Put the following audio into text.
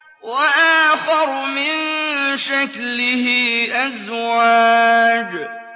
وَآخَرُ مِن شَكْلِهِ أَزْوَاجٌ